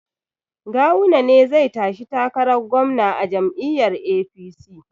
Gawuna ne zai tashi takarar gwamna a jam'iyyar APC